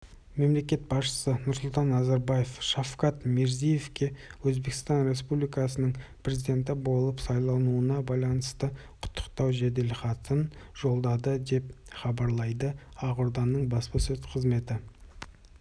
мемлекет басшысы нұрсұлтан назарбаев шавкат мирзиевке өзбекстан республикасының президенті болып сайлануына байланысты құттықтау жеделхатын жолдады деп хабарлайды ақорданың баспасөз қызметі